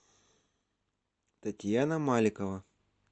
татьяна маликова